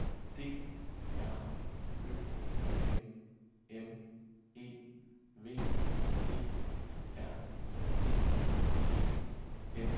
D R Ø M M E V E R D E N